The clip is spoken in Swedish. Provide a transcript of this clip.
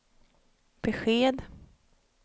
besked